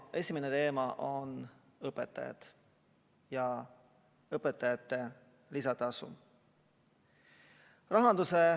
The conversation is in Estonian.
Esimene teema on õpetajad ja õpetajate lisatasu.